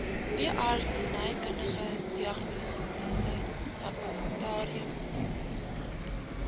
veeartsenykundige diagnostiese laboratoriumdiens